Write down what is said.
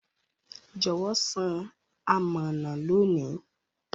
Jọwọ san amọna loni.